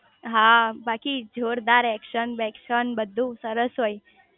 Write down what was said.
હા બાકી જોરદાર એકશન બેકકશન બધું સરસ હોય